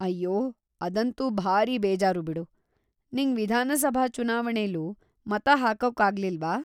ಅಯ್ಯೋ, ಅದಂತೂ ಭಾರೀ ಬೇಜಾರು ಬಿಡು. ನಿಂಗ್ ವಿಧಾನಸಭಾ ಚುನಾವಣೆಲೂ ಮತ ಹಾಕೋಕ್ಕಾಗ್ಲಿಲ್ವಾ?